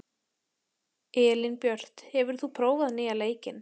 Elínbjört, hefur þú prófað nýja leikinn?